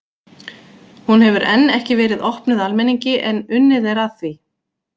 Hún hefur enn ekki verið opnuð almenningi en unnið er að því.